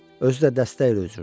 Özü də dəstə ilə üzürdü.